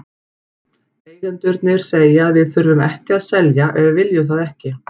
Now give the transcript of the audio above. Eigendurnir segja að við þurfum ekki að selja ef við viljum það ekki.